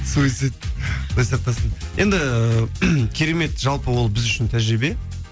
суйцид құдай сақтасын енді керемет жалпы ол біз үшін тәжірибе